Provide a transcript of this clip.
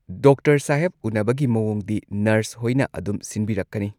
Doctor ꯁꯥꯍꯦꯕ ꯎꯅꯕꯒꯤ ꯃꯋꯣꯡꯗꯤ ꯅꯔꯁ ꯍꯣꯏꯅ ꯑꯗꯨꯝ ꯁꯤꯟꯕꯤꯔꯛꯀꯅꯤ꯫